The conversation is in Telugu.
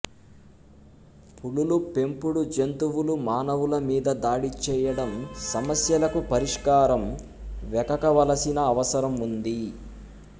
పులులు పెంపుడు జంతువులు మానవుల మీద దాడి చేయడం సమస్యలకు పరిష్కారం వెకకవలసిన అవసరం ఉంది